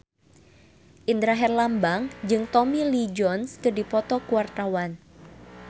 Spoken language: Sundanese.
Indra Herlambang jeung Tommy Lee Jones keur dipoto ku wartawan